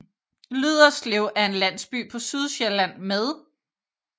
Lyderslev er en landsby på Sydsjælland med